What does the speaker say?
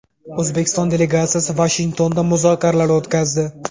O‘zbekiston delegatsiyasi Vashingtonda muzokaralar o‘tkazdi.